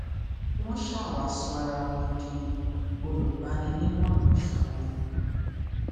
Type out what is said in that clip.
wọn ṣa wsá sọ ara wọn di olùgbaninímọràn fún un